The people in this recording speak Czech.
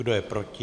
Kdo je proti?